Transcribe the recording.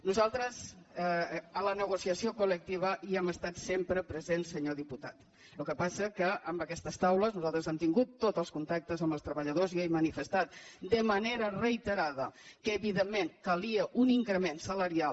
nosaltres en la negociació col·lectiva hi hem estat sem·pre presents senyor diputat el que passa que amb aquestes taules nosaltres hem tingut tots els contactes amb els treballadors i ja he manifestat de manera rei·terada que evidentment calia un increment salarial